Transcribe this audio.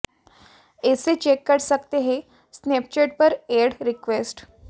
ऐसे चेक कर सकते हैं स्नेपचैट पर ऐड रिक्वेस्ट